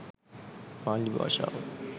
පාලි භාෂාව